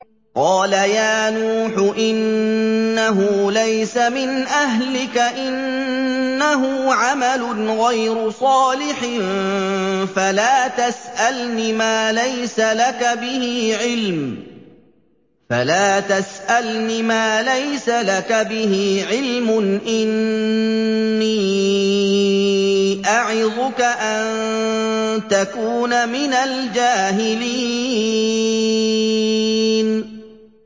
قَالَ يَا نُوحُ إِنَّهُ لَيْسَ مِنْ أَهْلِكَ ۖ إِنَّهُ عَمَلٌ غَيْرُ صَالِحٍ ۖ فَلَا تَسْأَلْنِ مَا لَيْسَ لَكَ بِهِ عِلْمٌ ۖ إِنِّي أَعِظُكَ أَن تَكُونَ مِنَ الْجَاهِلِينَ